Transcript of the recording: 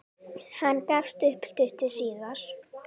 Hann gafst upp stuttu síðar.